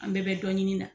An bɛɛ bɛ dɔ ɲini na